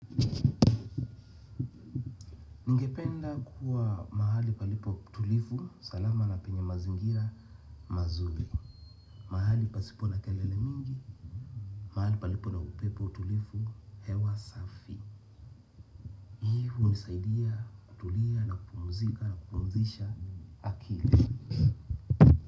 Ningependa kuwa mahali palipo tulivu, salama na penye mazingira mazuri. Mahali pasipo na kelele mingi, mahali palipo na upepo tulivu, hewa safi. Hii hunisaidia, kutulia na kupumzika na kupumzisha akili.